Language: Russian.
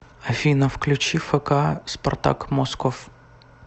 афина включи фк спартак москов